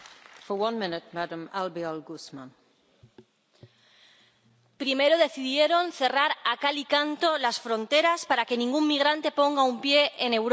Señora presidenta, primero decidieron cerrar a cal y canto las fronteras para que ningún migrante ponga un pie en Europa.